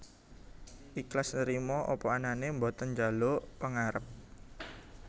Iklas Nrimo apa anane boten njaluk pangarep